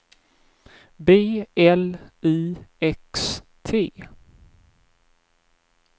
B L I X T